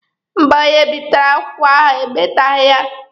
Mba, onye bipụtara akwụkwọ ahụ e meteghi ya.